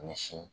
Misi